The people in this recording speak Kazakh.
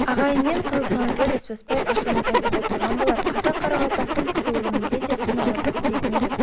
ағайынмен қырылысамыз ба бесбасбай ашумен айтып отырған болар қазақ-қарақалпақтың кісі өлімінде де құн алып бітісетін едік